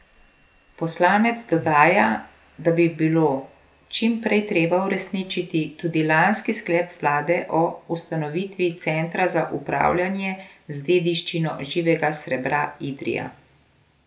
Poslanec dodaja, da bi bilo čim prej treba uresničiti tudi lanski sklep vlade o ustanovitvi Centra za upravljanje z dediščino živega srebra Idrija.